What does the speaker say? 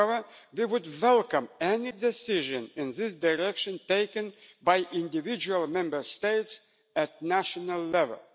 However, they would welcome any decision in this direction taken by individual Member States at national level.